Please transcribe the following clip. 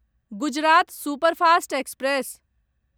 Gujarat superfast express